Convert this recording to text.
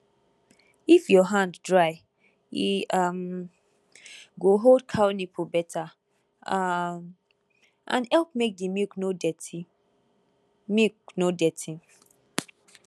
if your hand dry e um go hold cow nipple better um and help make the milk no dirty milk no dirty